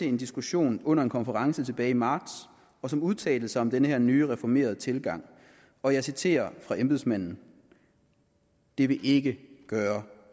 en diskussion under en konference tilbage i marts og som udtalte sig om den her nye reformerede tilgang og jeg citerer embedsmanden det vil ikke gøre